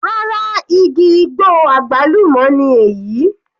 Rárá, igi igbó àgbálùmọ́ ni èyí.